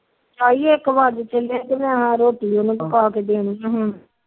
ਤਾਈ ਇੱਕ ਵੱਜ ਚੱਲਿਆ ਮੈ ਰੋਟੀ ਵੀ ਪਕਾ ਕੇ ਦੇਣੀ